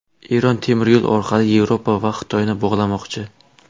Eron temiryo‘l orqali Yevropa va Xitoyni bog‘lamoqchi.